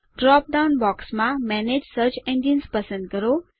drop down બોક્સમાં manage search engines પસંદ કરો